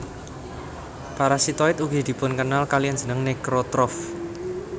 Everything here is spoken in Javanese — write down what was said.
Parasitoid ugi dipunkenal kaliyan jeneng necrotroph